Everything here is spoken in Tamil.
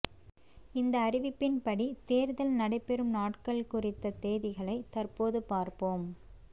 இந்த அறிவிப்பின்படி தேர்தல் நடைபெறும் நாட்கள் குறித்த தேதிகளை தற்போது பார்ப்போம்